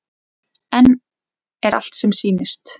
En er allt sem sýnist?